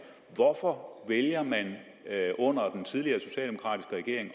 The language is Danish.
hvorfor vælger man under den tidligere socialdemokratiske regering